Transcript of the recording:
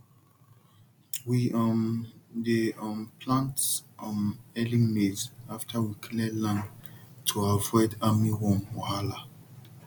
we um dey um plant um early maize after we clear land to avoid armyworm wahala